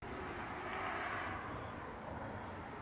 Ölkədə qeyri-sabit hava şəraiti müşahidə olunur.